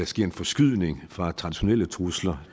sker en forskydning fra traditionelle trusler